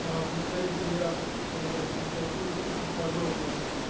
представители авторов законодательной инициативы очень подробно